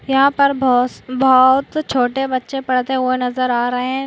यहाँ पर बहूस-बहुत छोटे बच्चे पड़ते हुए नजर आ रहे है।